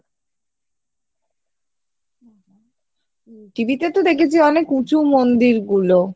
TV তে তো দেখেছি অনেক উঁচু মন্দিরগুলো